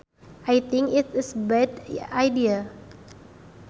I think it is a bad idea